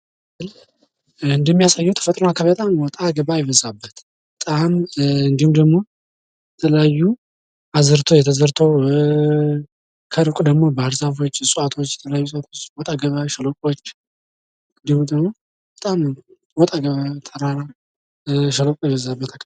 ምስሉ እንደሚያሳየው ወጣ ገባ የበዛበት፣ የተለያዩ አዝርቶች ተዘርተው፣ ከሩቅ ደግሞ ባህርዛፎች፣ እንዲሁም ሸለቆዎች ይታያሉ።